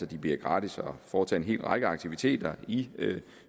det bliver gratis at foretage en hel række aktiviteter i